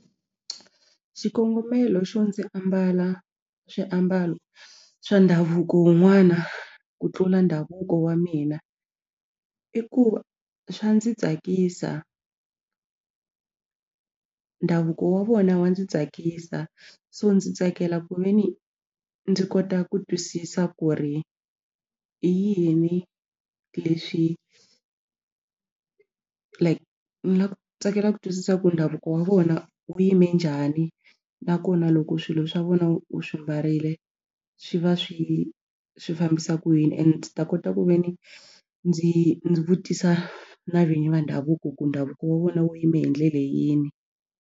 Xikongomelo xo ndzi ambala swiambalo swa ndhavuko wun'wana ku tlula ndhavuko wa mina i ku swa ndzi tsakisa ndhavuko wa vona wa ndzi tsakisa so ndzi tsakela ku ve ni ndzi kota ku twisisa ku ri i yini leswi like na ku tsakela ku twisisa ku ndhavuko wa vona wu yime njhani nakona loko swilo swa vona u swi mbarile swi va swi swi fambisa ku yini and ndzi ta kota ku ve ni ndzi ndzi vutisa na vinyi va ndhavuko ku ndhavuko wa vona wu yime hi ndlela yini.